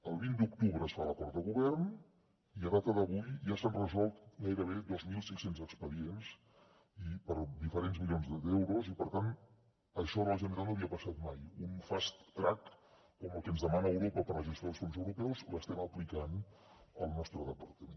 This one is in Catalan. el vint d’octubre es fa l’acord de govern i a data d’avui ja s’han resolt gairebé dos mil cinc cents expedients per diferents milions d’euros i per tant això a la generalitat no havia passat mai un fast track com el que ens demana europa per a la gestió dels fons europeus l’estem aplicant al nostre departament